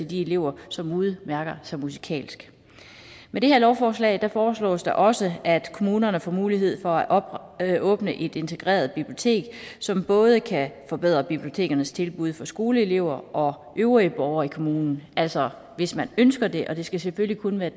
de elever som udmærker sig musikalsk med det her lovforslag foreslås der også at kommunerne får mulighed for at åbne et integreret bibliotek som både kan forbedre bibliotekernes tilbud til skoleelever og øvrige borgere i kommunen altså hvis man ønsker det og det skal selvfølgelig kun være